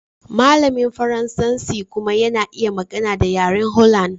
Malamin Faransanci kuma yana iya magana da yaren Holland.